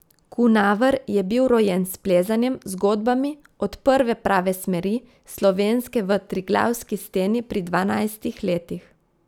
Kunaver je bil rojen s plezanjem, zgodbami, od prve prave smeri, Slovenske v Triglavski steni pri dvanajstih letih.